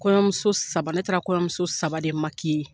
Kɔɲɔmuso saba ,ne taara kɔɲɔmuso saba de .